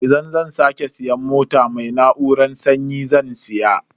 Idan zan sake siyan mota, mai na'urar sanyi zan siya.